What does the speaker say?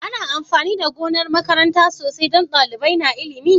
Ana amfani da gonar makaranta sosai don dalilai na ilimi?